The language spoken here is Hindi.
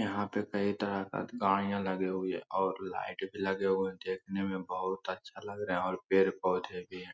यहां पे कई तरह का गाड़ियां लगी हुई है और लाइट भी लगे हुए हैं देखने में बहुत अच्छा लग रहे हैं और पेड़-पौधे भी है